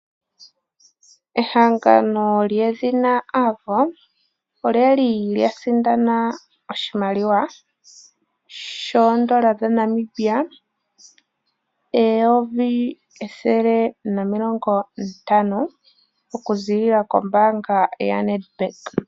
Ehangano lyedhina Avo olyali lya sindana oshimaliwa shoondola dha Namibia eyovi ethele nomilongo ntano okuziilila kombaanga ya Nedbank.